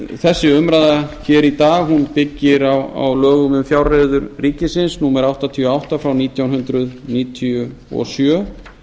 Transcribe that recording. þessi umræða hér í dag byggir á lögum um fjárreiður ríkisins númer áttatíu og átta frá nítján hundruð níutíu og sjö